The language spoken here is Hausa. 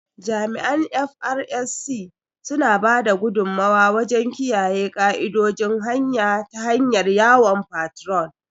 Jami’an "FRSC", suna ba da gudummuwa wajen kiyaye ka’idojin hanya ta hanyar yawon fatrol